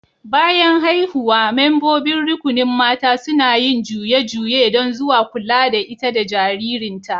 Bayan haihuwa, membobin rukunin mata suna yin juye-juye dan zuwa kulla da ita da jaririn ta.